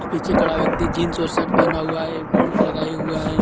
पीछे खड़ा व्यक्ति जींस और शर्ट पहना हुआ है बेल्ट लगाए हुआ है.